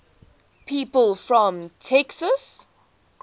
people from texas